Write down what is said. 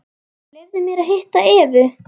Leyfðu mér að hitta Evu.